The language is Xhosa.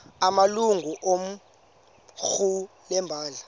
amalungu equmrhu lebandla